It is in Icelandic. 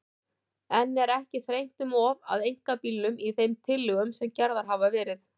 En er ekki þrengt um of að einkabílnum í þeim tillögum sem gerðar hafa verið?